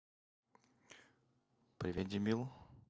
привет дебил